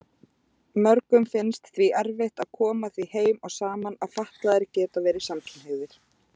Mörgum finnst því erfitt að koma því heim og saman að fatlaðir geti verið samkynhneigðir.